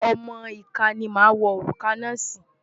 Ọmọ ìka ni wàá wọ òrùka náà sí.